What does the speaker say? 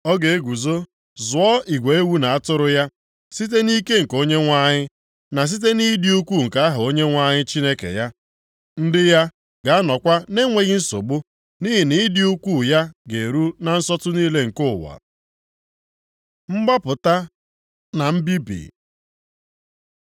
Ọ ga-eguzo zụọ igwe ewu na atụrụ ya, site nʼike nke Onyenwe anyị, na site nʼịdị ukwuu nke aha Onyenwe anyị Chineke ya. Ndị ya ga-anọkwa na-enweghị nsogbu, nʼihi na ịdị ukwuu ya ga-eru na nsọtụ niile nke ụwa. Mgbapụta na Mbibi